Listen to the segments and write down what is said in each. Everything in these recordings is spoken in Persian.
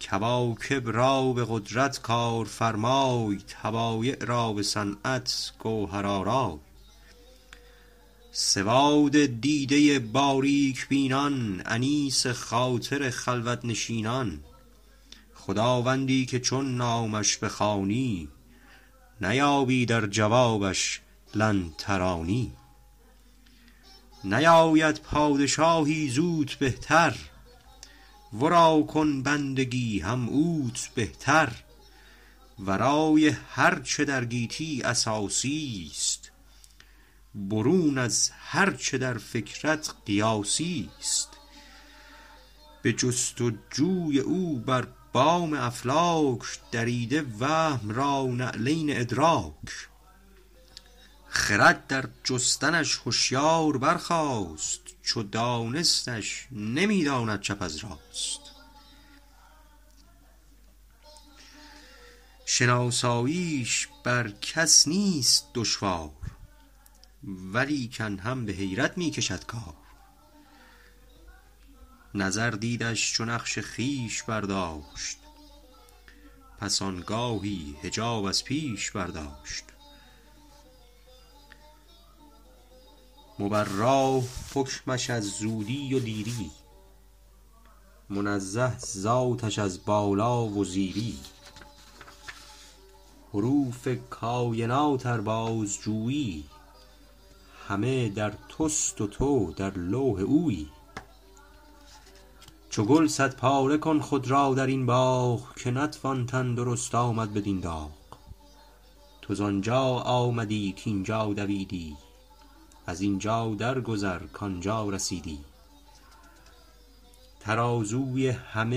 کواکب را به قدرت کارفرمای طبایع را به صنعت گوهرآرای مراد دیده باریک بینان انیس خاطر خلوت نشینان خداوندی که چون نامش بخوانی نیابی در جوابش لن ترانی نیاید پادشاهی زوت بهتر ورا کن بندگی هم اوت بهتر ورای هرچه در گیتی اساسی است برون از هر چه در فکرت قیاسی است به جست وجوی او بر بام افلاک دریده وهم را نعلین ادراک خرد در جستنش هشیار برخاست چو دانستش نمی داند چپ از راست شناساییش بر کس نیست دشوار ولیکن هم به حیرت می کشد کار نظر دیدش چو نقش خویش برداشت پس آن گاهی حجاب از پیش برداشت مبرا حکمش از زودی و دیری منزه ذاتش از بالا و زیری حروف کاینات ار بازجویی همه در توست و تو در لوح اویی چو گل صدپاره کن خود را درین باغ که نتوان تندرست آمد بدین داغ تو زآنجا آمدی کاین جا دویدی ازین جا در گذر کآنجا رسیدی ترازوی همه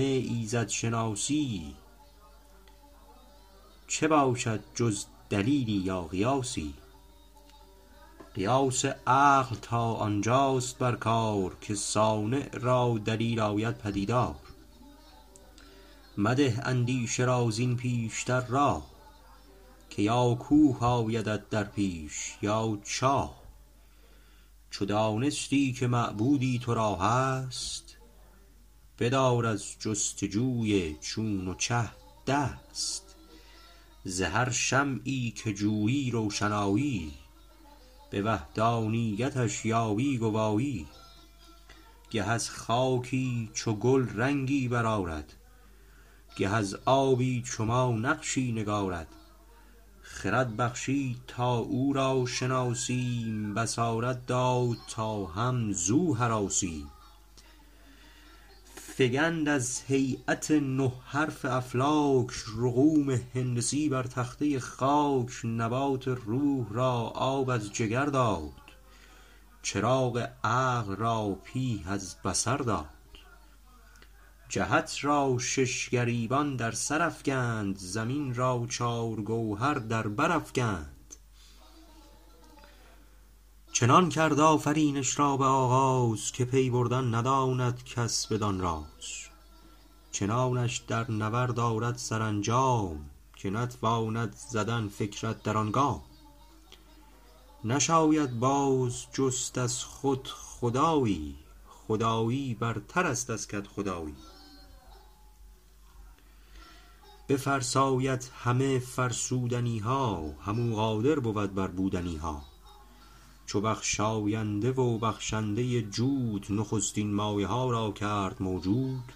ایزدشناسی چه باشد جز دلیلی یا قیاسی قیاس عقل تا آنجاست بر کار که صانع را دلیل آید پدیدار مده اندیشه را زین پیشتر راه که یا کوه آیدت در پیش یا چاه چو دانستی که معبودی تو را هست بدار از جست وجوی چون و چه دست ز هر شمعی که جویی روشنایی به وحدانیتش یابی گوایی گه از خاکی چو گل رنگی برآرد گه از آبی چو ما نقشی نگارد خرد بخشید تا او را شناسیم بصارت داد تا هم زو هراسیم فکند از هیأت نه حرف افلاک رقوم هندسی بر تخته خاک نبات روح را آب از جگر داد چراغ عقل را پیه از بصر داد جهت را شش گریبان در سر افکند زمین را چار گوهر در برافکند چنان کرد آفرینش را به آغاز که پی بردن نداند کس بدان راز چنانش در نورد آرد سرانجام که نتواند زدن فکرت در آن گام نشاید باز جست از خود خدایی خدایی برتر است از کدخدایی بفرساید همه فرسودنی ها همو قادر بود بر بودنی ها چو بخشاینده و بخشنده جود نخستین مایه ها را کرد موجود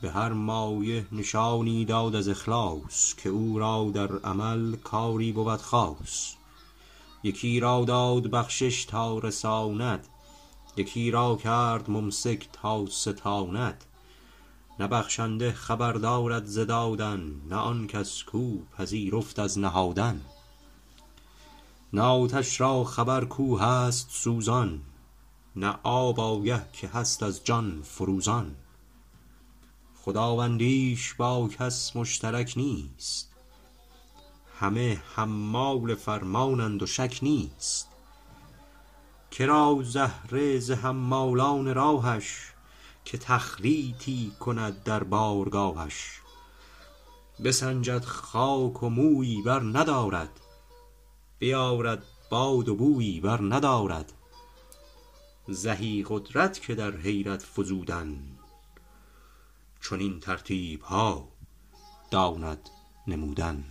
به هر مایه نشانی داد از اخلاص که او را در عمل کاری بود خاص یکی را داد بخشش تا رساند یکی را کرد ممسک تا ستاند نه بخشنده خبر دارد ز دادن نه آن کس کاو پذیرفت از نهادن نه آتش را خبر کاو هست سوزان نه آب آگه که هست از جان فروز ان خداوندیش با کس مشترک نیست همه حمال فرمانند و شک نیست که را زهره ز حمالان راهش که تخلیطی کند در بارگاهش بسنجد خاک و مویی بر ندارد بیارد باد و بویی بر ندارد زهی قدرت که در حیرت فزودن چنین ترتیب ها داند نمودن